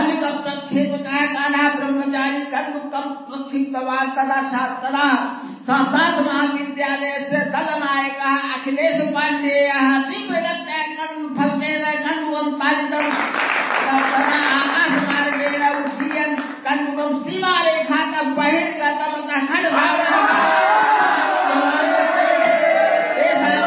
sound clip cricket commentary